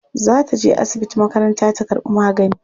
Za ta je asibiti makaranta ta karɓi magani.